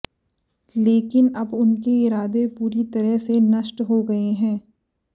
लेकिन अब उनके इरादे पूरी तरह से नष्ट हो गए हैं